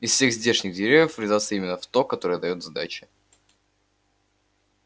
из всех здешних деревьев врезаться именно в то которое даёт сдачи